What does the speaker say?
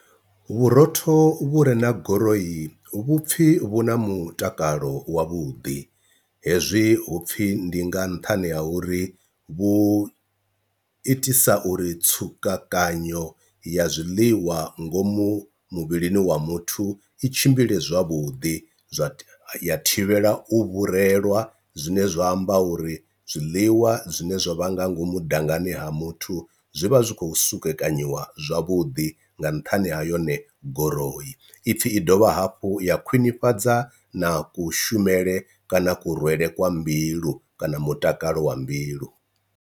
Vhurotho vhu re na goroyi vhupfhi vhu na mutakalo wavhuḓi, hezwi hupfi ndi nga nṱhani ha uri vhu itisa uri tsukanyo ya zwiḽiwa ngomu muvhilini wa muthu i tshimbile zwavhuḓi, zwa thivhela u vhurumelwa zwine zwa amba uri zwiḽiwa zwine zwa vha nga ngomu dangani ha muthu zwi vha zwi kho sukekanyiwa zwavhuḓi nga nṱhani ha yone guroyi, ipfhi i dovha hafhu ya khwinifhadza na kushumele kana kurwele kwa mbilu kana mutakalo wa mbilu.